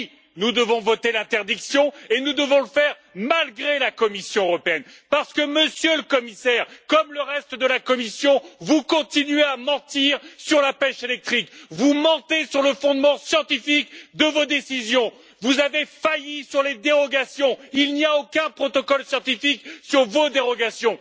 Alors oui, nous devons voter l'interdiction et nous devons le faire malgré la Commission européenne parce que, Monsieur le Commissaire, comme le reste de la Commission, vous continuez à mentir sur la pêche électrique, vous mentez sur le fondement scientifique de vos décisions, vous avez failli sur les dérogations il n'y a aucun protocole scientifique sur vos dérogations